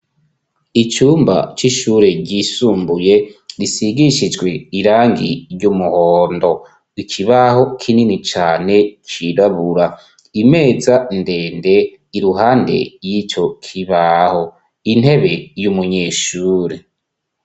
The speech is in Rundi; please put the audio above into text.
Icumba c'ishure ryisumbuye risigishijwe irangi ry'umuhondo, ikibaho kinini cane cirabura, imeza ndende iruhande y'icokibaho, intebe y'umunyeshuri.